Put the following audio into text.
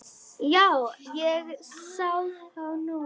Já, ég sá þá nú.